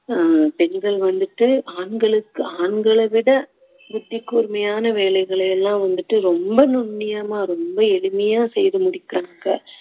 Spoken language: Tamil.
ஆஹ் பெண்கள் வந்துட்டு ஆண்களுக்கு ஆண்களை விட புத்தி கூர்மையான வேலைகளை எல்லாம் வந்துட்டு ரொம்ப நுண்ணியமா ரொம்ப எளிமையா செய்து முடிக்குறாங்க